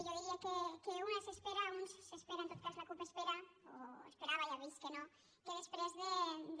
jo diria que una s’espera un s’espera en tot cas la cup ho espera o ho esperava ja ha vist que no que després de